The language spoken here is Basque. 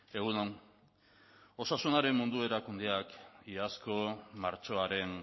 egun on osasunaren mundu erakundeak iazko martxoaren